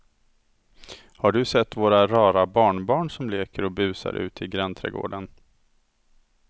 Har du sett våra rara barnbarn som leker och busar ute i grannträdgården!